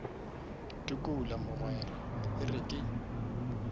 tukula mogwera e re ke